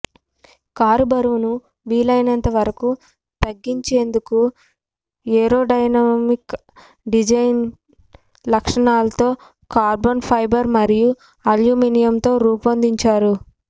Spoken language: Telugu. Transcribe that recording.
కారు బరువును వీలైనంత వరకు తగ్గించేందుకు ఏరోడైనమిక్ డిజైన్ లక్షణాలతో కార్బన్ ఫైబర్ మరియు అల్యూమినియంతో రూపొందించారు